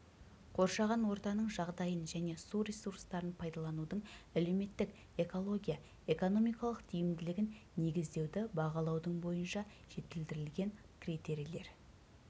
қоршаған ортаның жағдайын және су ресурстарын пайдаланудың әлеуметтік-экология экономикалық тиімділігін негіздеуді бағалаудың бойынша жетілдірілген критерийлер